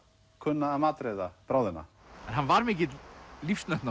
kunna að matreiða bráðina en hann var mikill